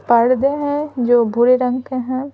पर्दे हैं जो बुरे रंग के हैं।